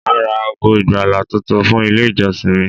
Màá ra ago ìgbàlà tuntun fún Ilé ìjọsìn mi